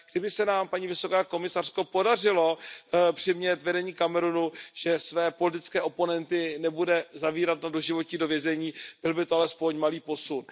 Kdyby se nám, paní vysoká komisařko, podařilo přimět vedení Kamerunu k tomu, aby své politické oponenty nezavíralo na doživotí do vězení, byl by to alespoň malý posun.